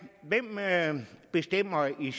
i